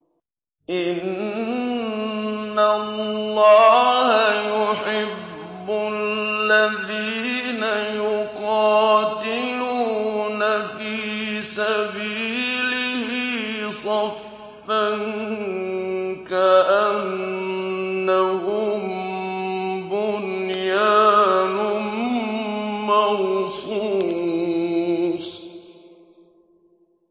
إِنَّ اللَّهَ يُحِبُّ الَّذِينَ يُقَاتِلُونَ فِي سَبِيلِهِ صَفًّا كَأَنَّهُم بُنْيَانٌ مَّرْصُوصٌ